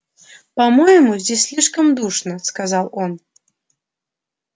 по-моему здесь слишком душно сказал он